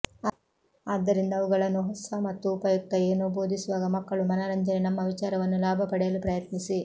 ಆದ್ದರಿಂದ ಅವುಗಳನ್ನು ಹೊಸ ಮತ್ತು ಉಪಯುಕ್ತ ಏನೋ ಬೋಧಿಸುವಾಗ ಮಕ್ಕಳು ಮನರಂಜನೆ ನಮ್ಮ ವಿಚಾರವನ್ನು ಲಾಭ ಪಡೆಯಲು ಪ್ರಯತ್ನಿಸಿ